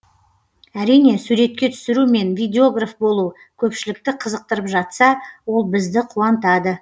әрине суретке түсіру мен видеограф болу көпшілікті қызықтырып жатса ол бізді қуантады